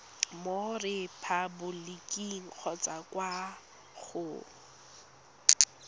mo repaboliking kgotsa kwa go